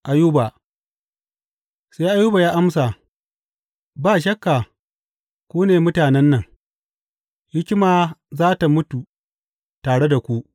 Ayuba Sai Ayuba ya amsa, Ba shakka ku ne mutanen nan, hikima za tă mutu tare da ku!